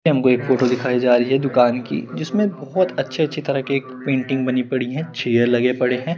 हमको एक फोटो दिखाई जा रही है एक दुकान कि जिसमे बहोत अच्छे अच्छे तरह के पेन्टिंग बनी पड़ी है चेयर लगे पड़ ए है।